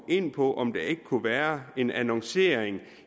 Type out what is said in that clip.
ind på om der ikke kunne være en annoncering